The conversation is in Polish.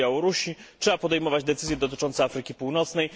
na Białorusi, trzeba podejmować decyzje dotyczące Afryki Północnej.